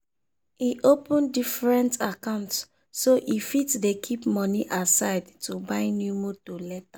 e open diferent account so e fit dey keep money aside to buy new motor later.